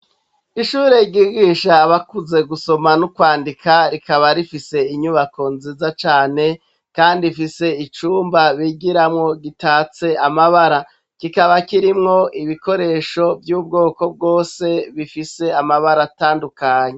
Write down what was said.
Ishure ryigisha abakuze gusoma no kwandika rikaba rifise inyubako nziza cane kandi ifise icumba bigiramwo gitatse amabara kikaba kirimwo ibikoresho vy'ubwoko bwose bifise amabara atandukanye.